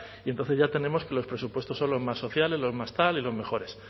y entonces ya tenemos que los presupuestos son los más sociales los más tal y los mejores